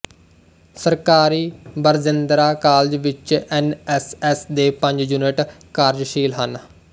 ਸਰਕਾਰੀ ਬਰਜਿੰਦਰਾ ਕਾਲਜ ਵਿੱਚ N S S ਦੇ ਪੰਜ ਯੂਨਿਟ ਕਾਰਜਸ਼ੀਲ ਹਨ